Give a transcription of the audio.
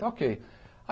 Está okay.